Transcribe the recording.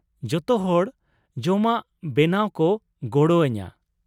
ᱡᱚᱛᱚᱦᱚᱲ ᱡᱚᱢᱟᱜ ᱵᱮᱱᱟᱣ ᱠᱚ ᱜᱚᱲᱚ ᱟᱹᱧᱟᱹ ᱾